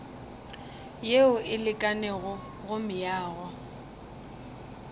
yeo e lekanego go meago